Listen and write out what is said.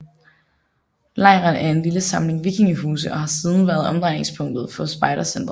Lejren er en lille samling vikingehuse og har siden været omdrejningspunktet for spejdercentret